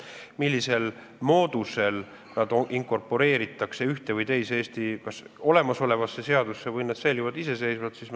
Millisel moodusel need normid inkorporeeritakse ühte või teise Eestis olemasolevasse seadusesse või säilivad nad iseseisvana?